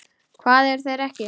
Hvar eru þeir ekki?